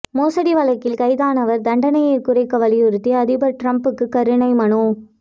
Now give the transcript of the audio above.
மோசடி வழக்கில் கைதானவர் தண்டனையை குறைக்க வலியுறுத்தி அதிபர் டிரம்புக்கு கருணை மனு